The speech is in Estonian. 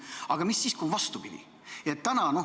Aga mis siis, kui on vastupidi?